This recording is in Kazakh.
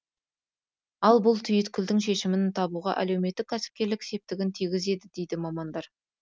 ал бұл түйткілдің шешімін табуға әлеуметтік кәсіпкерлік септігін тигізеді дейді мамандар